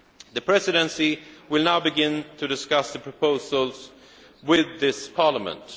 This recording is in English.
The Presidency will now begin to discuss the proposals with this Parliament.